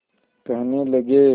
कहने लगे